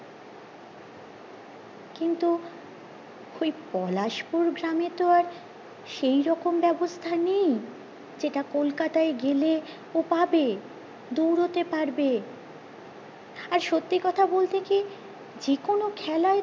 ওই পলাশপুর গ্রামে তো আর সেইরকম বেবস্থা নেই যেটা কলকাতায় গেলে ও পাবে দৌড়তে পারবে আর সত্যি কথা বলতে কি যে কোনো খেলায়